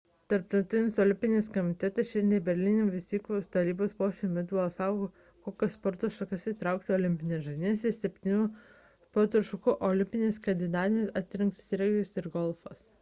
tarptautinis olimpinis komitetas šiandien berlyne vykusio valdybos posėdžio metu balsavo kokias sporto šakas įtraukti į olimpines žaidynes iš septynių sporto šakų olimpinėmis kandidatėmis atrinktas regbis ir golfas